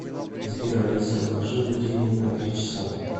сбер алиса отложи будильник на три часа